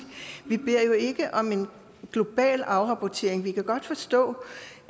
vi beder jo ikke om en global afrapportering vi kan godt forstå